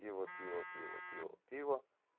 пиво пиво пиво пиво пиво